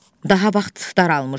Daha vaxt daralmışdı.